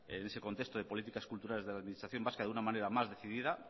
en ese contesto de políticas culturales de la administración vasca de una manera más decidida